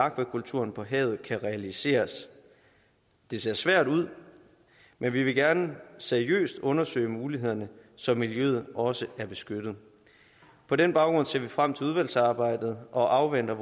akvakulturen på havet kan realiseres det ser svært ud men vi vil gerne seriøst undersøge mulighederne så miljøet også er beskyttet på den baggrund ser vi frem til udvalgsarbejdet og venter